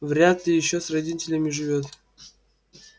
вряд ли ещё с родителями живёт